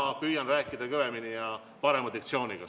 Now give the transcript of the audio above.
Ma püüan rääkida kõvemini ja parema diktsiooniga.